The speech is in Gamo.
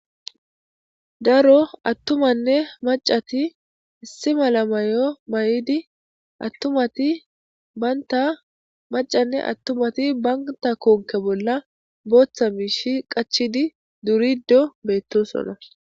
Daro attumanne macati issi malamayo may'idi attumati baynta macanne attumati banta konke bolla booththa miishi qachidi durido beettosona.